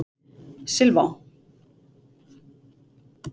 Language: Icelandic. Silfá